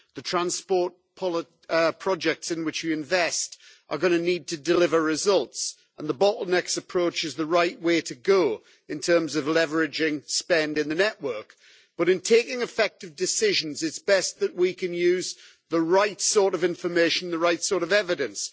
The transport projects in which we invest are going to need to deliver results, and the bottlenecks approach is the right way to go in terms of leveraging spend in the network, but in taking effective decisions, it is best that we can use the right sort of information, the right sort of evidence.